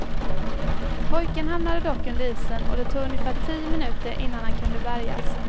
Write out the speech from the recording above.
Pojken hamnade dock under isen och det tog ungefär tio minuter innan han kunde bärgas.